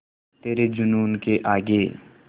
तेरे जूनून के आगे